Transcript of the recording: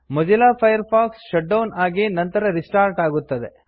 Mozilla Firefox shut down ಆಗಿ ನಂತರ restart ಆಗುತ್ತದೆ